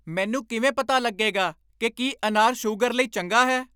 ਮੈਨੂੰ ਕਿਵੇਂ ਪਤਾ ਲੱਗੇਗਾ ਕਿ ਕੀ ਅਨਾਰ ਸੂਗਰ ਲਈ ਚੰਗਾ ਹੈ?